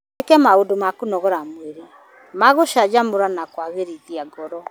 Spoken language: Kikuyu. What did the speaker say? Wĩke maũndũ ma kũnogora mwĩrĩ ma gũcanjamũra na kwagĩrithia ngoro.